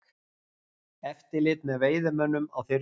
Eftirlit með veiðimönnum á þyrlu